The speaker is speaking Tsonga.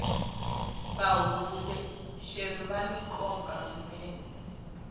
vahundzuluxeri vani nkoka swinene